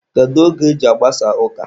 Kedu oge e ji agbasa ụka?